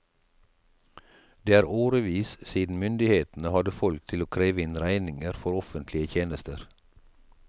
Det er årevis siden myndighetene hadde folk til å kreve inn regninger for offentlige tjenester.